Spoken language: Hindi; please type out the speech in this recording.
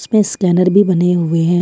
तो स्कैनर भी बने हुए हैं।